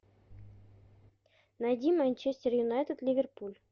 найди манчестер юнайтед ливерпуль